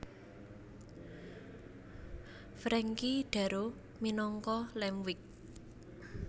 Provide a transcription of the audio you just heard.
Frankie Darro minangka Lampwick